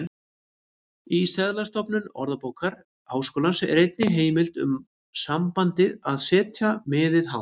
Í seðlasöfnum Orðabókar Háskólans er engin heimild um sambandið að setja miðið hátt.